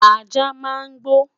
ajá máa ń gbo